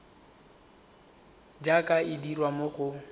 jaaka e dirwa mo go